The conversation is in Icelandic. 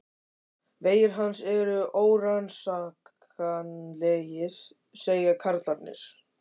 Vegir hans eru órannsakanlegir, segja karlarnir.